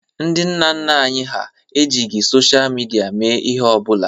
Nna nna anyị hà ejighi sochịa midia mee ihe ọ bụla.